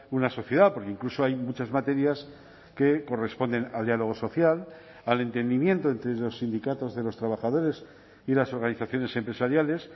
una sociedad porque incluso hay muchas materias que corresponden al diálogo social al entendimiento entre los sindicatos de los trabajadores y las organizaciones empresariales